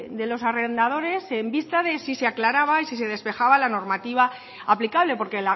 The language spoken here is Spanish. de los arrendadores en vista de si se aclaraba y si se despejaba la normativa aplicable porque